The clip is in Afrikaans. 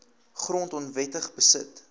grond onwettig beset